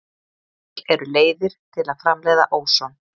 Til eru leiðir til að framleiða óson.